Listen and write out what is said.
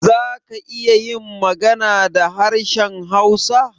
Za ka iya yin magana da harshen hausa?